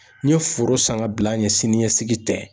N ye foro san ka bila ɲɛ sini ɲɛsigi tɛ